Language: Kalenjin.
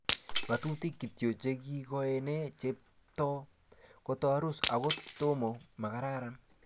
ngatutuk kityo? che ikoene chepto koturis okot to mo makararan?